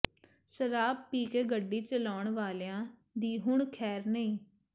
ਸ਼ਰਾਬ ਪੀ ਕੇ ਗੱਡੀ ਚਲਾਉਣ ਵਾਲਿਆਂ ਦੀ ਹੁਣ ਖ਼ੈਰ ਨਹੀਂ